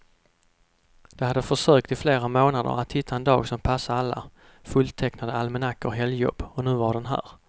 De hade försökt i flera månader att hitta en dag som passade alla fulltecknade almanackor och helgjobb, och nu var den här.